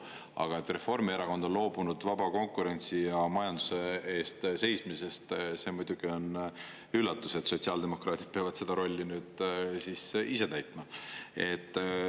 Aga et Reformierakond on loobunud vaba konkurentsi ja majanduse eest seismisest, see muidugi on üllatus, et sotsiaaldemokraadid peavad seda rolli nüüd ise täitma.